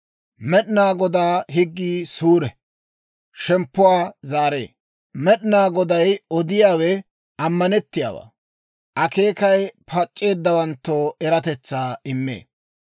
Med'inaa Godaa higgii suure; shemppuwaa zaaree. Med'inaa Goday odiyaawe ammanettiyaawaa; akeekay pac'c'eeddawanttoo eratetsaa immee.